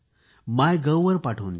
मायगव्हवर पाठवून द्या